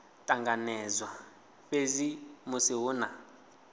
ṱanganedzwa fhedzi musi hu na